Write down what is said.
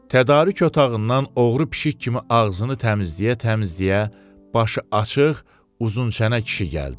Tədarük otağından oğru pişik kimi ağzını təmizləyə-təmizləyə başı açıq, uzun çənə kişi gəldi.